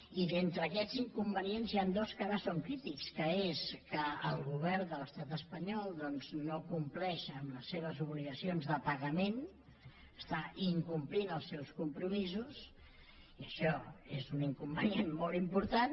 i d’entre aquests inconvenients n’hi han dos que ara són crítics que és que el govern de l’estat espanyol no compleix amb les seves obligacions de pagament està incomplint els seus compromisos i això és un inconvenient molt important